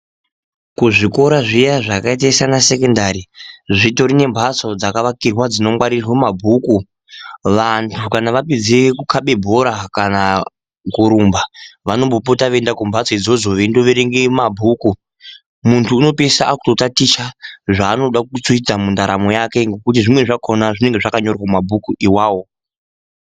Kuzvikora zviya zvakaita sanasekondari zvitori nemphatso dzakavakirwa dzinongwarirwa mabhuku. Vanthu kana vapedza kukabe bhora kana kurumba vanombopota veienda kumphatso idzodzo veindoverenga mabhuku. Munthu unopedzisira akutotaticha zvanoda kuzoita mundaramo yake ngokuti zvimweni zvakona zvinenge zvakanyorwa mumabhuku iwawo